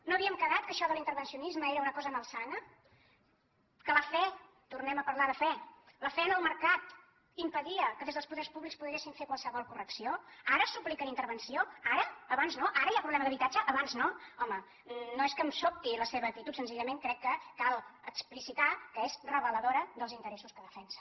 no havíem quedat que això de l’intervencionisme era una cosa malsana que la fe tornem a parlar de fe en el mercat impedia que des dels poders públics poguéssim fer qualsevol correcció ara supliquen intervenció ara abans no ara hi ha problema d’habitatge abans no home no és que em sobti la seva actitud senzillament crec que cal explicitar que és reveladora dels interessos que defensen